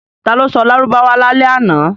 Ta ló sọ Lárúbáwá lálẹ́ àná?